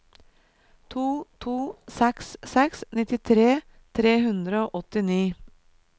to to seks seks nittitre tre hundre og åttini